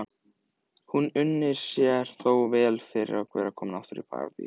Hún unir sér þó vel komin aftur til Parísar.